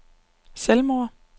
selvmord